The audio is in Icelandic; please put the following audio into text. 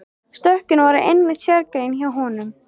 Stökkin voru einmitt sérgrein hjá honum.